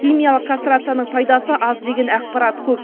химиялық кастрацияның пайдасы аз деген ақпарат көп